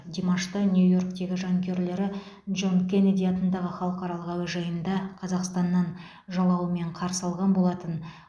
димашты нью йорктегі жанкүйерлері джон кеннеди атындағы халықаралық әуежайында қазақстаннан жалауымен қарсы алған болатын